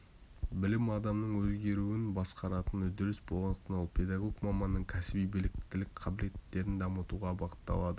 білім адамның өзгеруін басқаратын үдеріс болғандықтан ол педагог-маманның кәсіби біліктілік қабілеттерін дамытуға бағытталады